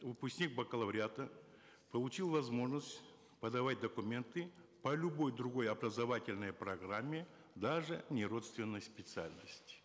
выпускник бакалавриата получил возможность подавать документы по любой другой образовательной программе даже неродственной специальности